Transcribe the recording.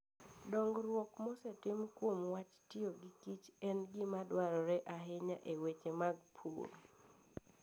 Dongruok mosetim kuom wach tiyo gi kich en gima dwarore ahinya e weche mag pur.